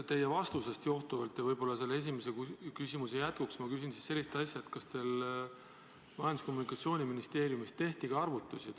Teie vastusest johtuvalt ja võib-olla esimese küsimuse jätkuks ma küsin sellist asja, kas Majandus- ja Kommunikatsiooniministeeriumis tehti ka arvutusi.